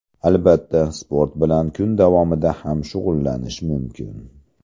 Albatta, sport bilan kun davomida ham shug‘ullanish mumkin.